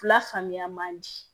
La faamuya man di